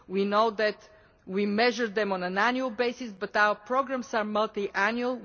We know that we measure them on an annual basis, but our programmes are multi annual.